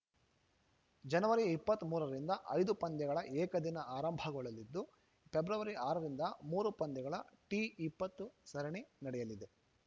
ಜನವರಿ ಇಪ್ಪತ್ತ್ ಮೂರ ರಿಂದ ಐದು ಪಂದ್ಯಗಳ ಏಕದಿನ ಆರಂಭಗೊಳ್ಳಲಿದ್ದು ಫೆಬ್ರವರಿ ಆರ ರಿಂದ ಮೂರು ಪಂದ್ಯಗಳ ಟಿ ಇಪ್ಪತ್ತು ಸರಣಿ ನಡೆಯಲಿದೆ